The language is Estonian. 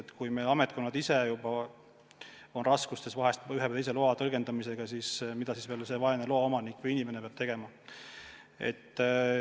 Ja kui juba ametkonnad ise on raskustes ühe või teise loa tõlgendamisega, siis mida veel see vaene loa omanik peab tegema.